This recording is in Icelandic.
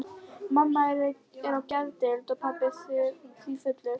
Mamma er á geðdeild og pabbi sífullur.